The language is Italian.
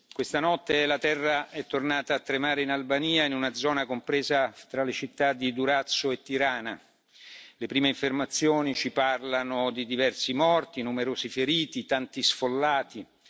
Care colleghe e cari colleghi, questa notte la terra è tornata a tremare in Albania, in una zona compresa tra le città di Durazzo e Tirana. Le prime informazioni ci parlano di diversi morti, numerosi feriti e tanti sfollati.